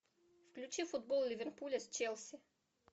включи футбол ливерпуля с челси